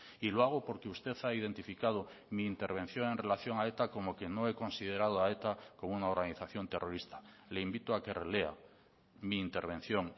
y lo hago porque usted ha identificado mi intervención en relación a eta como que no he considerado a eta como una organización terrorista le invito a que relea mi intervención